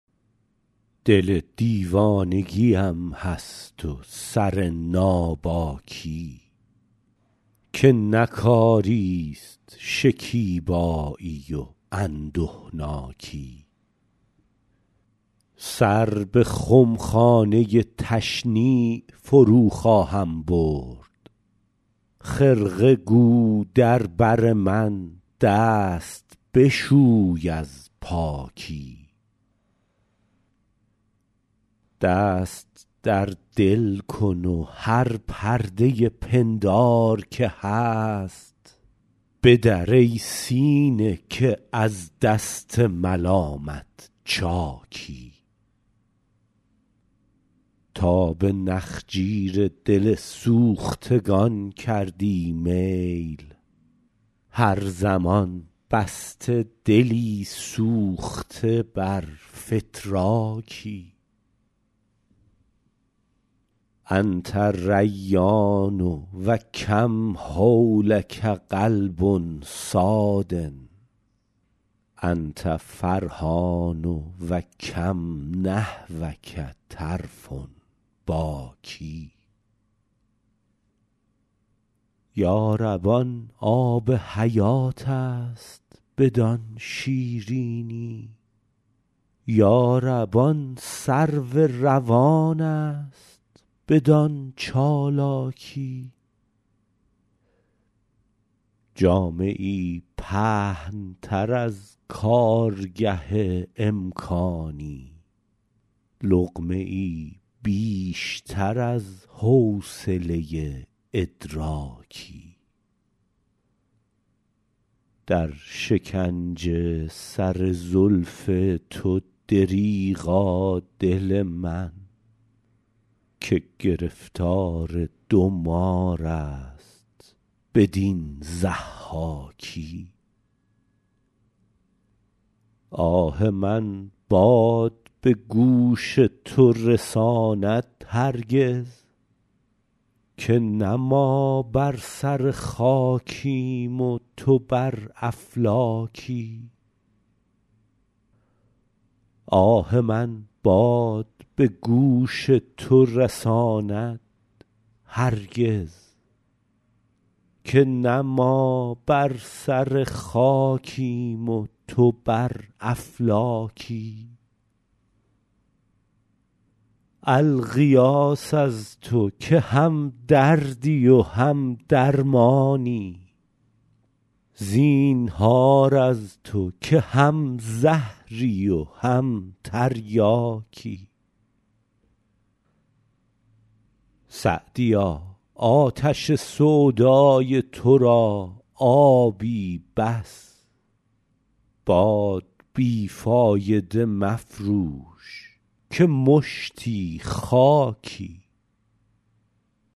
دل دیوانگی ام هست و سر ناباکی که نه کاری ست شکیبایی و اندهناکی سر به خمخانه تشنیع فرو خواهم برد خرقه گو در بر من دست بشوی از پاکی دست در دل کن و هر پرده پندار که هست بدر ای سینه که از دست ملامت چاکی تا به نخجیر دل سوختگان کردی میل هر زمان بسته دلی سوخته بر فتراکی أنت ریان و کم حولک قلب صاد أنت فرحان و کم نحوک طرف باکی یا رب آن آب حیات است بدان شیرینی یا رب آن سرو روان است بدان چالاکی جامه ای پهن تر از کارگه امکانی لقمه ای بیشتر از حوصله ادراکی در شکنج سر زلف تو دریغا دل من که گرفتار دو مار است بدین ضحاکی آه من باد به گوش تو رساند هرگز که نه ما بر سر خاکیم و تو بر افلاکی الغیاث از تو که هم دردی و هم درمانی زینهار از تو که هم زهری و هم تریاکی سعدیا آتش سودای تو را آبی بس باد بی فایده مفروش که مشتی خاکی